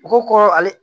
U ko kɔrɔ ale